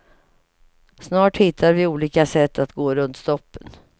Snart hittar vi olika sätt att gå runt stoppen.